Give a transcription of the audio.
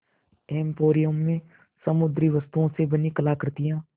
emporium में समुद्री वस्तुओं से बनी कलाकृतियाँ